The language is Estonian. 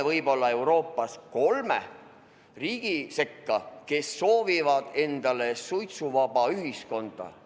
Võib-olla jõuame Euroopas nende kolme riigi sekka, kes soovivad suitsuvaba ühiskonda.